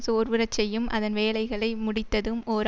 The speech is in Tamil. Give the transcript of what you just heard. சோர்வுறச்செய்யும் அதன் வேலைகளை முடித்ததும் ஓர்